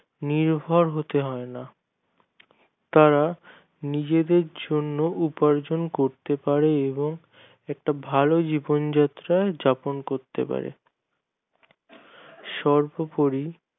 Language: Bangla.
নিভর হতে হয় না তারা নিজেদের জন্য উপার্জন করতে পারে এবং একটা ভালো জীবনযাত্রা যাপন করতে পারে সর্বোপরি